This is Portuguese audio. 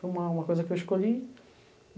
Foi uma uma coisa que eu escolhi.